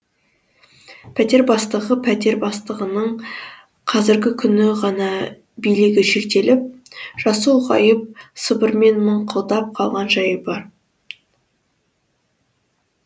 пәтер бастығы пәтер бастығының қазіргі күні ғана билігі шектеліп жасы ұлғайып сыбырмен мыңқылдап қалған жайы бар